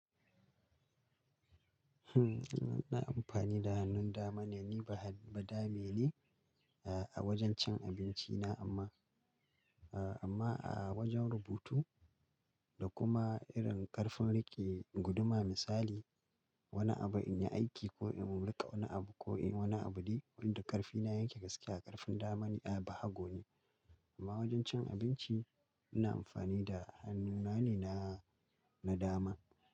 Hmm ina amfani da hannun dama ne, ni ba ba dame ne a wajen cin abinci na amma a wajen rubutu da kuma irin karfin rike guduma misali wani abu in yi aiki ko in mu riƙe wani abu ko wani abu de wanda ƙarfi na yanke gaske a ƙarfin dama ni a ba hago ne. Amma wajen cin abinci ina amfani da hannuna ne na dama.